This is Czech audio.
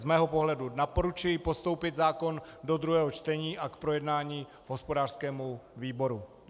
Z mého pohledu doporučuji postoupit zákon do druhého čtení a k projednání hospodářskému výboru.